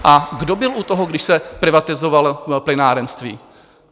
A kdo byl u toho, když se privatizovalo plynárenství?